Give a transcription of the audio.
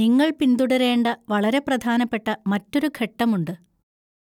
നിങ്ങൾ പിന്തുടരേണ്ട വളരെ പ്രധാനപ്പെട്ട മറ്റൊരു ഘട്ടമുണ്ട്,